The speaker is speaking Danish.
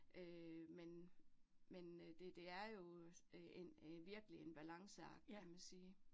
Øh men men øh det det er jo øh en en virkelig en balanceakt kan man sige